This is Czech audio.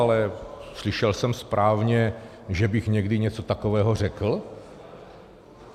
Ale slyšel jsem správně, že bych někdy něco takového řekl?